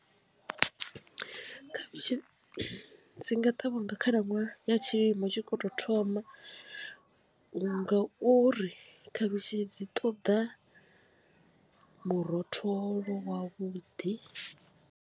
Khavhishi dzi nga ṱavhiwa nga khalaṅwaha ya tshilimo tshi khou tou thoma ngauri khavhishi dzi ṱoḓa murotholo wavhuḓi.